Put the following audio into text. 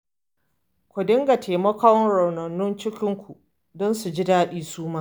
Ku dinga taimakon raunanan cikinku don su ji daɗi su ma